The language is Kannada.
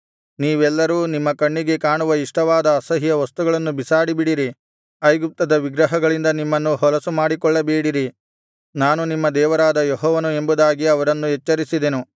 ನೀವೆಲ್ಲರೂ ನಿಮ್ಮ ಕಣ್ಣಿಗೆ ಕಾಣುವ ಇಷ್ಟವಾದ ಅಸಹ್ಯ ವಸ್ತುಗಳನ್ನು ಬಿಸಾಡಿಬಿಡಿರಿ ಐಗುಪ್ತದ ವಿಗ್ರಹಗಳಿಂದ ನಿಮ್ಮನ್ನು ಹೊಲಸು ಮಾಡಿಕೊಳ್ಳಬೇಡಿರಿ ನಾನು ನಿಮ್ಮ ದೇವರಾದ ಯೆಹೋವನು ಎಂಬುದಾಗಿ ಅವರನ್ನು ಎಚ್ಚರಿಸಿದೆನು